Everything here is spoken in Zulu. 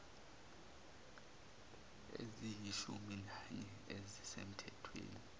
eziyishumi nanye ezisemthethweni